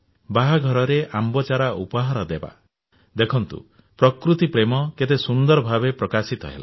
ବାହାଘରରେ ଆମ୍ବ ଚାରା ଉପହାର ଦେବା ଦେଖନ୍ତୁ ପ୍ରକୃତି ପ୍ରେମ କେତେ ସୁନ୍ଦର ଭାବେ ପ୍ରକାଶିତ ହେଲା